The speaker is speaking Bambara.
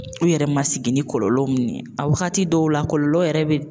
U yɛrɛ ma sigi ni kɔlɔlɔ min ye a wagati dɔw la kɔlɔlɔ yɛrɛ be